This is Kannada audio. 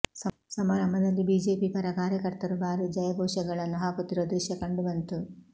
ಸಮಾರಂಭದಲ್ಲಿ ಬಿಜೆಪಿ ಪರ ಕಾರ್ಯಕರ್ತರು ಬಾರೀ ಜಯಘೋಷಗಳನ್ನು ಹಾಕುತ್ತಿರುವ ದೃಶ್ಯ ಕಂಡು ಬಂತು